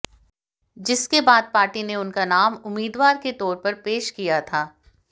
जिसके बाद पार्टी ने उनका नाम उम्मीदवार के तौर पर पेश किया था